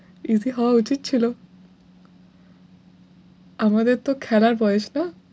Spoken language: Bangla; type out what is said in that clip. Easy হওয়া উচিৎ ছিল আমাদের তো খেলার বয়েস না।